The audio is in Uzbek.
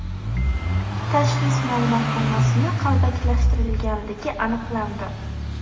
tashxis ma’lumotnomasini qalbakilashtirganligi aniqlandi.